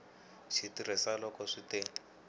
xi tirhisa loko swi te